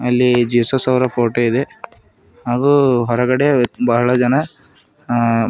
ಅಲ್ಲಿ ಜೀಸಸ್ ಅವರ ಫೋಟೋ ಇದೆ ಹಾಗೂ ಹೊರಗಡೆ ಬಹಳ ಜನ ಅ--